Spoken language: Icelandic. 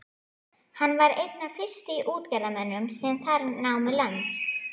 Hann var einn af fyrstu útgerðarmönnunum sem þar námu land.